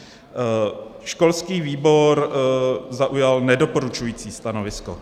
Školský výbor zaujal nedoporučující stanovisko.